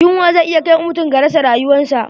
Yunwa zai iya kai mutum ga rasa ryuwansa.